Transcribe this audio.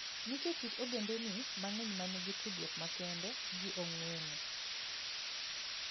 Nitie kit ogendini mang'eny ma nigi tudruok makende gi ong'weng'o.